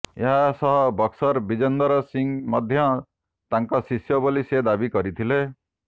ଏହାସହ ବକ୍ସର ବିଜେନ୍ଦର ସିଂହ ମଧ୍ୟ ତାଙ୍କ ଶିଷ୍ୟ ବୋଲି ସେ ଦାବି କରିଥିଲେ